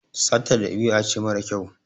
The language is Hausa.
Sata ɗabi'a ce mara kyau.